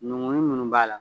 Nunkunun nunnu b'a la.